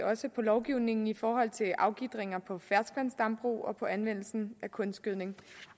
også lovgivningen i forhold til afgitringer på ferskvandsdambrug og på anvendelsen af kunstgødning